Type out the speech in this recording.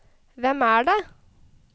hvem er det